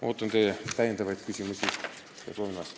Ootan teie täiendavaid küsimusi ja proovin vastata.